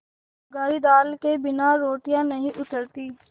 बघारी दाल के बिना रोटियाँ नहीं उतरतीं